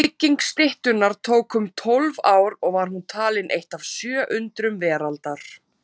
Bygging styttunnar tók um tólf ár og var hún talin eitt af sjö undrum veraldar.